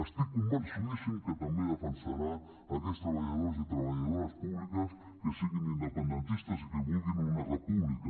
estic convençudíssim que també defensarà aquests treballadors i treballadores públiques que siguin independentistes i que vulguin una república